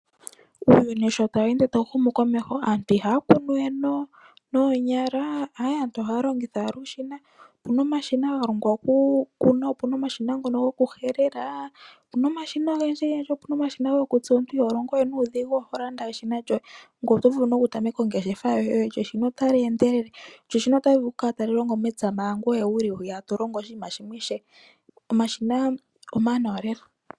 Uuyuni sho tawu ende tawu humu komeho aantu ihaya kunu we noonyala, aantu ohaya longitha owala uushina. Opuna omashina ga longwa okukuna, opuna omashina ngono gokuhelela. Opuna omashina ogendji gendji, opuna omashina gokutsa. Omuntu iho lomgo we nuudhigu, oho landa owala eshina lyoye. Ngoye oto vulu nokutameka ongeshefa yoye, shaashi eshina otali endelele. Lyo eshina otali vulu okukala tali longo mepya manga ngoye wuli hwiya to longo oshinima shimwe ishewe. Omashina omawanawa lela.